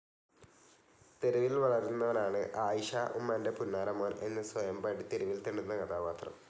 തെരുവിൽ വളരുന്നവനാണ് ആയിഷ ഉമ്മാൻ്റെ പുന്നാര സോൺ എന്ന് സ്വയം പാടി തെരുവിൽ തെണ്ടുന്ന കഥാപാത്രം.